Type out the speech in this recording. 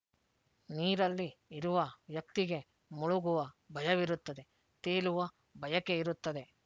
ನೀರಲ್ಲಿ ಇರುವ ವ್ಯಕ್ತಿಗೆ ಮುಳುಗುವ ಭಯವಿರುತ್ತದೆ ತೇಲುವ ಬಯಕೆ ಇರುತ್ತದೆ